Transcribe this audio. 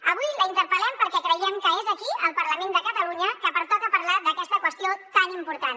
avui la interpel·lem perquè creiem que és aquí al parlament de catalunya que pertoca parlar d’aquesta qüestió tan important